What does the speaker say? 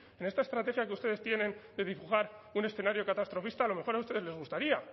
en esta estrategia que ustedes tienen de dibujar un escenario catastrofista a lo mejor a ustedes les gustaría